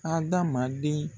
Hadamaden